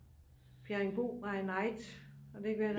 Bjerringbro by night er det ikke ved at